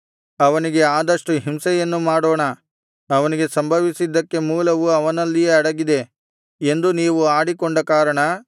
ಅವನಿಗೆ ಆದಷ್ಟು ಹಿಂಸೆಯನ್ನು ಮಾಡೋಣ ಅವನಿಗೆ ಸಂಭವಿಸಿದ್ದಕ್ಕೆ ಮೂಲವು ಅವನಲ್ಲಿಯೇ ಅಡಗಿದೆ ಎಂದು ನೀವು ಆಡಿಕೊಂಡ ಕಾರಣ